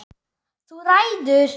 Þú ræður!